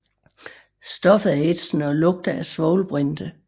Stoffet er ætsende og lugter af svovlbrinte